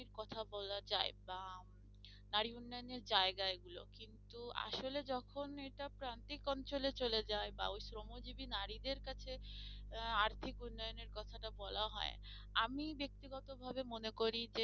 এর কথা বলা যায় বা উম নারী উন্নয়নের জায়গা এগুলো কিন্তু আসলে যখন এটা প্রান্তিক অঞ্চলে চলে যায় বা ওই শ্রমজীবী নারীদের কাছে আহ আর্থিক উন্নয়নের কথাটা বলা হয় আমি ব্যক্তি গত ভাবে মনে করি যে